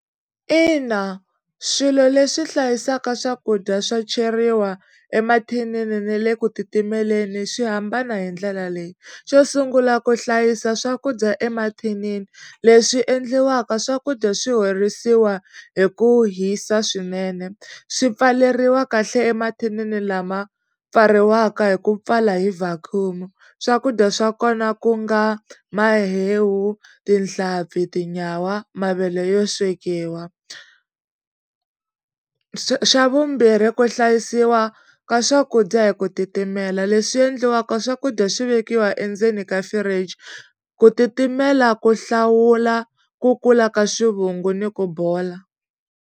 Ina swilo leswi hlayisaka swakudya swo cheriwa emathinini na le ku titimeleni swi hambana hi ndlela leyi xo sungula ku hlayisa swakudya emathinini leswi endliwaka swakudya swi horisiwa hi ku hisa swinene swi pfaleriwa kahle emathinini lama pfariwaka hi ku pfala hi swakudya swa kona ku nga mahewu tinhlampfi tinyawa mavele yo swekiwa xa vumbirhi ku hlayisiwa ka swakudya hi ku titimela leswi endliwaka swakudya swi vekiwa endzeni ka fridge ku titimela ku hlawula ku kula ka swivungu ni ku bola.